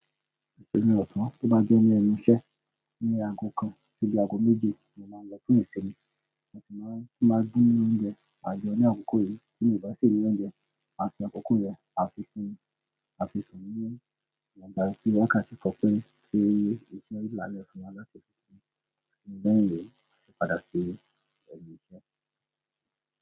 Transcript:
Ìṣòmi ọ̀sán tó bá jẹ́ ní ẹnu iṣẹ́ ní aago kan títí aago méje ni mo máa ń lọ fún ìṣòmi mo sì máa ń máa dín oúnjẹ àjọ ní àkókò yìí tí mo bá sì lé oúnjẹ àti àkókò yẹn àfi ìsinmi, àfi ìsọ̀nyín, mo gbà kí wọ́n kàńsí kọ pé kí èyí èyí sì le láyè fún alágbẹ̀dẹ́ ìṣòmi nígbà ẹ̀yẹ àti padà sí ayé ẹ̀yí iṣẹ́.